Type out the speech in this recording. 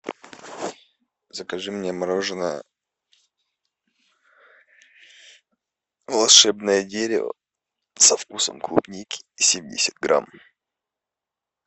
закажи мне мороженое волшебное дерево со вкусом клубники семьдесят грамм